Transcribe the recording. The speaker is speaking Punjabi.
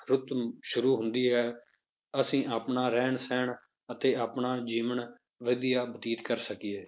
ਰੁੱਤ ਸ਼ੁਰੂ ਹੁੰਦੀ ਹੈ ਅਸੀਂ ਆਪਣਾ ਰਹਿਣ ਸਹਿਣ ਅਤੇ ਆਪਣਾ ਜੀਵਨ ਵਧੀਆ ਬਤੀਤ ਕਰ ਸਕੀਏ।